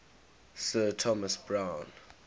sir thomas browne